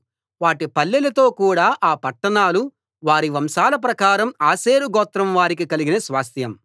వాటి పల్లెలతో కూడ ఆ పట్టణాలు వారి వంశాల ప్రకారం ఆషేరు గోత్రం వారికి కలిగిన స్వాస్థ్యం